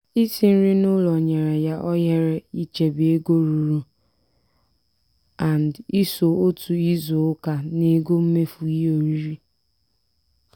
isi nri n'ụlọ nyere ya ohere ichebe ego ruru & iso otu izu ụka n'ego mmefu ihe oriri.